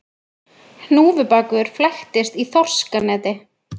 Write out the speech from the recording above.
Hnúfubakur flæktist í þorskaneti